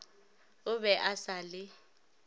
o be a sa le